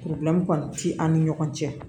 kɔni ti an ni ɲɔgɔn cɛ